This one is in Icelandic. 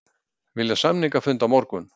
Vilja samningafund á morgun